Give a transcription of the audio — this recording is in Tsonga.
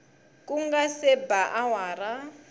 ku nga se ba awara